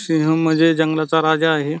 सिंह म्हणजे जंगलाचा राजा आहे.